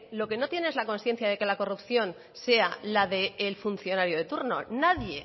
lo que no tiene es la consciencia de que la corrupción sea la del funcionario de turno nadie